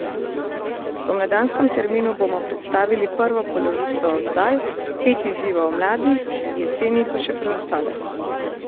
V spomladanskem terminu bomo predstavili prvo polovico oddaj, pet izzivov mladih, jeseni pa še preostale.